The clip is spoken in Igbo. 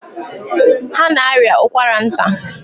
Ha na-arịa ụkwara nta.